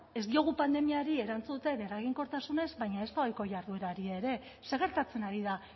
ez diogu pandemiari erantzuten eraginkortasunez baina ezta ohiko jarduerari ere zer gertatzen ari da